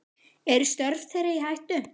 Eru störf þeirra í hættu?